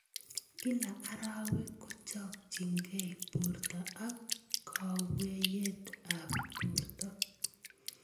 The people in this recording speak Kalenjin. Kila arawek kojojinkei borto akwoiyet ab borto.